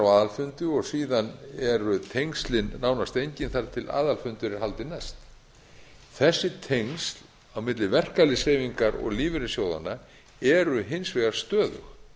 á aðalfundi og síðan eru tengslin nánast engin þar til aðalfundur er haldinn næst þessi tengsl á milli verkalýðshreyfingar og lífeyrissjóðanna eru hins vegar stöðug